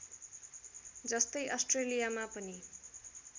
जस्तै अस्ट्रेलियामा पनि